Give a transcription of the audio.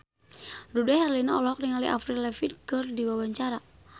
Dude Herlino olohok ningali Avril Lavigne keur diwawancara